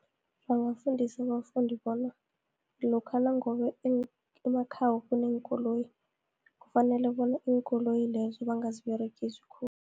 Bangafundisa abafundi bona, lokha nangabe emakhabo kuneenkoloyi, kufanele bona iinkoloyi lezo bangaziberegisi khulu.